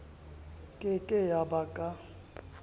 ke ke ya ba ka